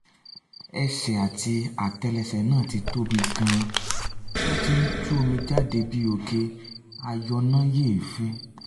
ẹsẹ̀ àti átẹ́lẹsẹ̀ náà ti tóbi gan-an ó ti ń tú omi jáde bí òkè ayọnáyèéfín